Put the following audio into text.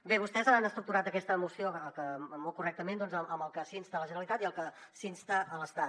bé vostès han estructurat aquesta moció molt correctament amb el que s’insta la generalitat i el que s’insta l’estat